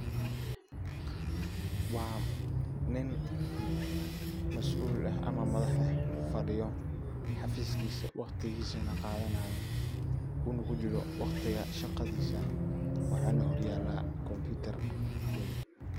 Waa nin masul eh ama madax eh fadiyo xafiskisa waqtigisana qadanayo ,uuna kujiro waqtiga shaqadisa waxana horyala computer weyn.